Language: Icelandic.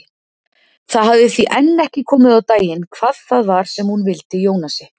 Það hafði því enn ekki komið á daginn hvað það var sem hún vildi Jónasi.